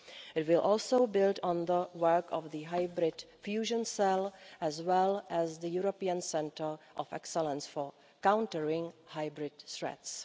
It will also build on the work of the Hybrid Fusion Cell, as well as the European Centre of Excellence for countering hybrid threats.